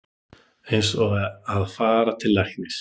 Eins og að fara til læknis